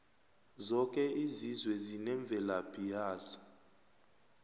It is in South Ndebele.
zoke izizwe zinemvelaphi yazo